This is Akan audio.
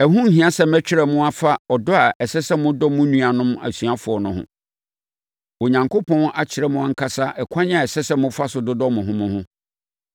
Ɛho nhia sɛ mɛtwerɛ mo afa ɔdɔ a ɛsɛ sɛ modɔ mo nuanom asuafoɔ no ho. Onyankopɔn akyerɛ mo ankasa ɛkwan a ɛsɛ sɛ mofa so dodɔ mo ho mo ho.